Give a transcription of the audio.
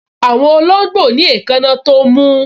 Àwọn olóngbò ní èékánná tó mú